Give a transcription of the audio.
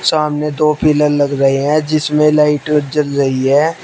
सामने दो पिलर लग रहे हैं जिसमें लाइट जल रही है।